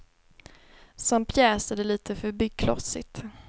Som pjäs är det litet för byggklossigt.